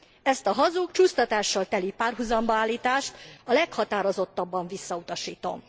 Ezt a hazug, csúsztatással teli párhuzamba állítást a leghatározottabban visszautasítom.